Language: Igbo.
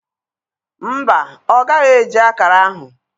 Mba, ọ gaghị eji akara ahụ.